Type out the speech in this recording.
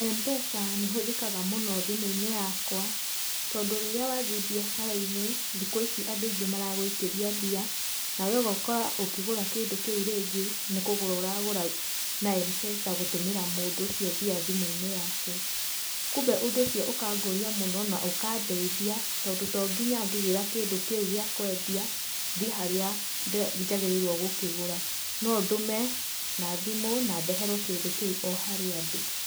Mpesa nĩhũthĩkaga mũno thimũinĩ yakwa tondũ rĩrĩa wathiĩ biacarainĩ thikũ ici andũ maragũikĩria mbia nawe ũgekora ũkĩgũra kĩndũ kĩu rĩngĩ nĩkũgũra ũragũra na Mpesa gũtũmĩra mũndũ mbeca icio thimũinĩ yake kumbe ũndũ ũcio ũkangũria mũnoo na ũkandeithia tondũ tonginya ngĩgĩra kĩndũ kĩu gĩa kwendia thiĩ harĩa njagĩrĩrwo gũkĩgũra nondũme na thimũ na ndeherwo kĩndũ kĩu o harĩa ndĩ.